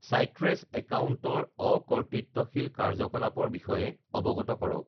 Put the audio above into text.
চাইট্ৰেছ একাউণ্টৰ অকৰ্তৃত্বশীল কাৰ্য্যকলাপৰ বিষয়ে অৱগত কৰক